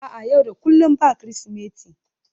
a'a, yau da kullum ba Kirsimeti